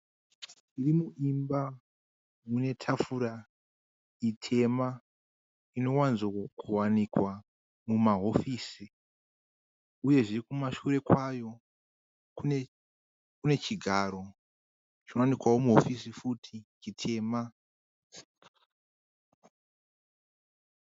Mune imwe imba mune tafura itema. Inowanzokuwanikwa mumahofisi uyezve kumashure kwayo kune chigaro chinowanikwao muhofisi futi chitema.